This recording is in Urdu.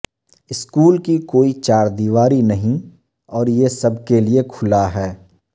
سکول کی کوئی چار دیواری نہیں اور یہ سب کے لیئے کھلا ہے